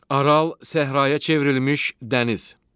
Aral səhraya çevrilmiş dəniz.